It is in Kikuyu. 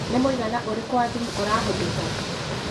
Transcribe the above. nĩ mũigana ũrĩkũ wa thũmũ ũrahũthĩka